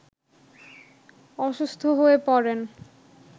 অসুস্থ হয়ে পড়েন